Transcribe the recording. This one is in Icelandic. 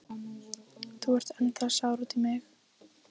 Þú ert ennþá sár út í mig.